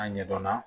A ɲɛdɔnna